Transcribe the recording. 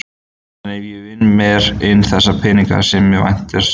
En ef ég vinn mér inn þessa peninga sem á vantar sjálfur?